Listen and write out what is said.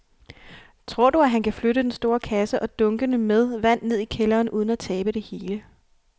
Tror du, at han kan flytte den store kasse og dunkene med vand ned i kælderen uden at tabe det hele?